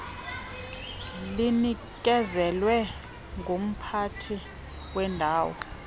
linikezelwe ngumphathi wendawo